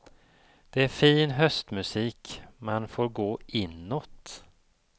Det är fin höstmusik, man får gå inåt.